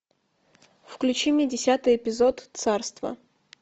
включи мне десятый эпизод царство